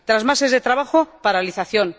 Tras meses de trabajo paralización.